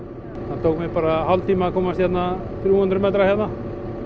það tók mig hálftíma að komast þrjú hundruð metra